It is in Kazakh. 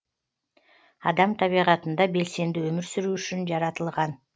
адам табиғатында белсенді өмір сүру үшін жаратылған